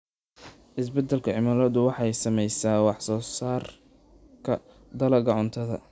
Isbeddelka cimiladu waxay saamaysaa wax soo saarka dalagyada cuntada.